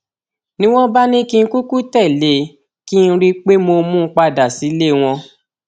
ni wọn bá ní kí n kúkú tẹlé e kí n rí i pé mo mú un padà sílé wọn